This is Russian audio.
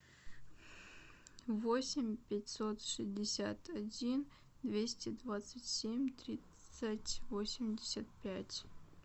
восемь пятьсот шестьдесят один двести двадцать семь тридцать восемьдесят пять